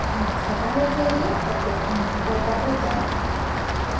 mask हटाने के लिए object menu पर वापस जाएँ